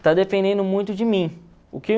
Está dependendo muito de mim.